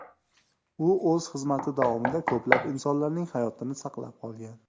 U o‘z xizmati davomida ko‘plab insonlarning hayotini saqlab qolgan.